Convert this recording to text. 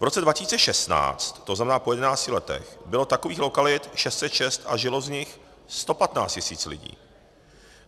V roce 2016, to znamená po jedenácti letech, bylo takových lokalit 606 a žilo v nich 115 tisíc lidí.